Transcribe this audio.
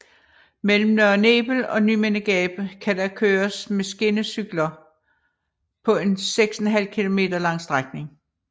Mellem Nørre Nebel og Nymindegab kan der køres med skinnecykler på en 6½ km lang strækning